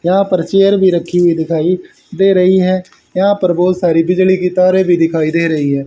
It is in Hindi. यहा पर चेयर भी रखी हुई दिखाइए दे रही है यहां पर बहुत सारी बिजली की तारे भी दिखाई दे रही हैं।